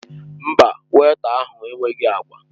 Mba, wéita ahụ enweghị agwa.